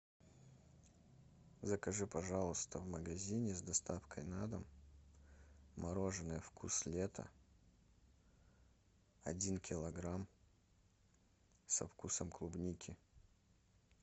закажи пожалуйста в магазине с доставкой на дом мороженое вкус лета один килограмм со вкусом клубники